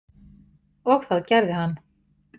Og það gerði hann